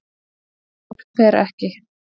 Herjólfur fer ekki